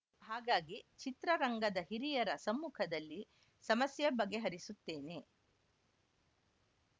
ಹಾಗಾಗಿ ಚಿತ್ರರಂಗದ ಹಿರಿಯರ ಸಮ್ಮುಖದಲ್ಲಿ ಸಮಸ್ಯೆ ಬಗೆಹರಿಸುತ್ತೇನೆ